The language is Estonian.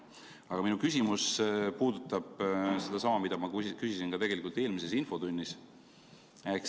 Aga minu küsimus puudutab sedasama, mida ma küsisin ka eelmises infotunnis.